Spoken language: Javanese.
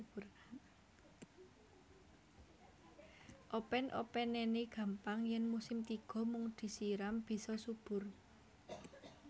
Open openene gampang yen musim tiga mung disiram bisa subur